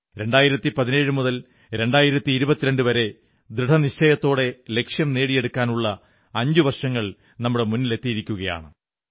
2017 മുതൽ 2022 വരെ ദൃഢനിശ്ചയത്തോടെ ലക്ഷ്യം നേടിയെടുക്കാനുള്ള അഞ്ചുവർഷങ്ങൾ നമ്മുടെ മുന്നിലെത്തിയിരിക്കയാണ്